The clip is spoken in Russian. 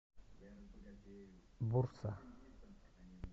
бурса